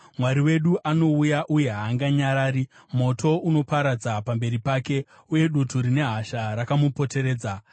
Mwari wedu anouya uye haanganyarari; moto unoparadza pamberi pake, uye dutu rine hasha rakamupoteredza.